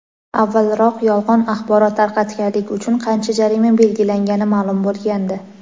avvalroq yolg‘on axborot tarqatganlik uchun qancha jarima belgilangani ma’lum bo‘lgandi.